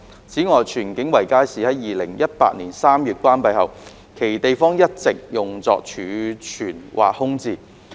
此外，荃景圍街市在2018年3月關閉後，其地方一直用作儲物或空置。